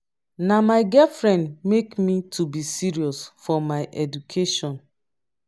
na my girlfriend make me to be serious for my education